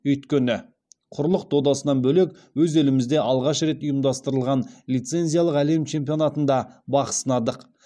өйткені құрлық додасынан бөлек өз елімізде алғаш рет ұйымдастырылған лицензиялық әлем чемпионатында бақ сынадық